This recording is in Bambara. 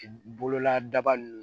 Bolola daba ninnu